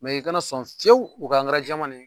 i kana sɔn fiyewu u ka jɛman de